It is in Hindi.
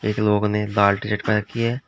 कुछ लोग ने लाल टी शर्ट पहन रखी है।